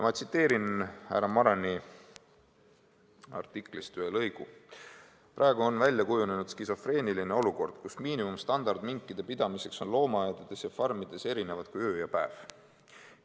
Ma tsiteerin härra Marani artiklist ühe lõigu: "Praegu on välja kujunenud skisofreeniline olukord, kus miinimumstandard on minkide pidamiseks loomaaedades ning farmides erinevad kui öö ja päev.